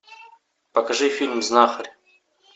покажи фильм знахарь